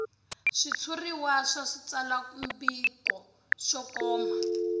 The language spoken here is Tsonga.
switshuriwa swa switsalwambiko swo koma